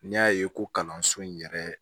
N'i y'a ye ko kalanso in yɛrɛ